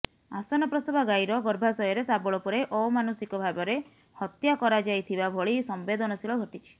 ଆସନପ୍ରଶବା ଗାଈର ଗର୍ଭାଶୟରେ ଶାବଳ ପୁରାଇ ଅମାନୁଷିକ ଭାବରେ ହତ୍ୟା କରାଯାଇଥିବା ଭଳି ସମ୍ବେଦନଶୀଳ ଘଟିଛି